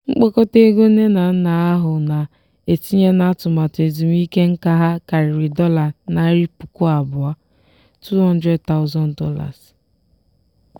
mkpokọta ego nne na nna ahụ na-etinye n'atụmaatụ ezumike nká ha karịrị dollar narị puku abụọ ($200000).